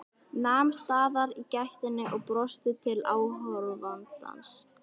Nam staðar í gættinni og brosti til áhorfandans.